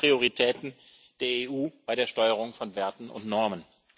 Das sind die Prioritäten der EU bei der Steuerung von Werten und Normen.